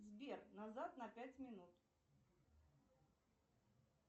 сбер назад на пять минут